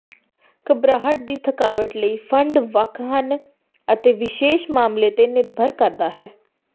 ਘਬਰਾਹਟ ਦੀ ਥਕਾਵਟ ਲਈ ਫੰਡ ਵੱਖ ਹਨ ਅਤੇ ਵਿਸ਼ੇਸ਼ ਮਾਮਲੇ ਤੇ ਨਿਰਭਰ ਕਰਦਾ ਹੈ